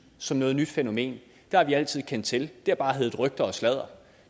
som noget nyt fænomen det har vi altid kendt til det har bare heddet rygter og sladder og